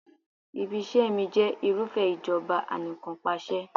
Ibi-iṣẹ́ mi jẹ́ irúfẹ́ ìjọba Anìkanpàṣẹ.